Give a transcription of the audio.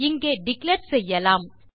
இங்கே டிக்ளேர் செய்யலாம்